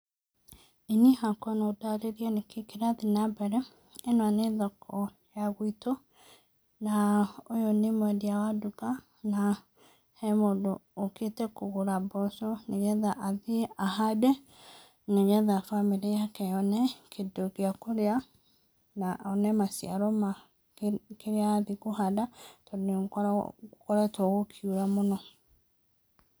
Ĩĩ niĩ hakwa no ndarĩri nĩkĩ kĩrathiĩ na mbere. Ĩno nĩ thoko ya gwĩtũ na ũyũ nĩ mwendia wa nduka, na he mũndũ ũkĩte kũgũra mboco, nĩgetha athiĩ ahande na nĩgetha bamĩrĩ yake yone kĩndũ gĩa kũrĩa, na one maciaro ma kĩrĩa arathiĩ kũhanda, tondũ nĩ gũkoretwo gũkiura mũno.